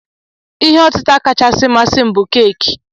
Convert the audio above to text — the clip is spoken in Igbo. Ihe otịta kachasị masị m bụ keki.